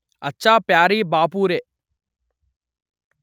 అచ్చా ప్యారీ బాపురే